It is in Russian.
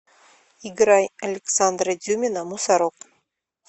играй александра дюмина мусорок